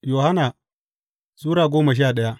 Yohanna Sura goma sha daya